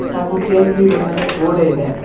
ಹಾಗು ಕೇಸರಿ ಬಣ್ಣದ ಗೋಡೆ ಇದೆ.